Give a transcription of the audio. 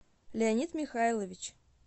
леонид михайлович